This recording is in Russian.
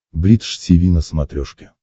бридж тиви на смотрешке